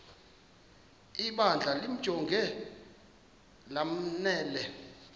ibandla limjonge lanele